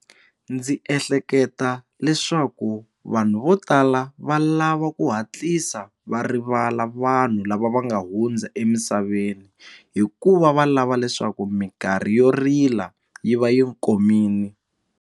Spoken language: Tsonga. Ndzi ehleketa leswaku vanhu vo tala va lava ku hatlisa va rivala vanhu lava va nga hundza emisaveni hikuva va lava leswaku minkarhi yo rila yi va yi komile.